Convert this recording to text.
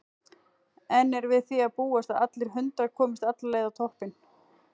En er við því að búast að allir hundrað komist alla leið á toppinn?